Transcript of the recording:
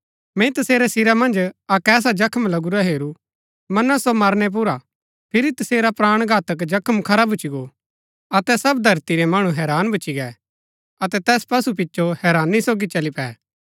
मैंई तसेरै सिरा मन्ज अक्क ऐसा जख्म लगुरा हेरू मना सो मरनै पुर हा फिरी तसेरा प्राण घातक जख्म खरा भूच्ची गो अतै सब धरती रै मणु हैरान भूच्ची गै अतै तैस पशु पिचो हैरानी सोगी चली पै